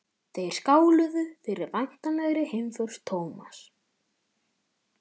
Þeir skáluðu fyrir væntanlegri heimför Thomas.